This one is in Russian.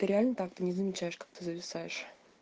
ты реально так ты не замечаешь как ты зависаешь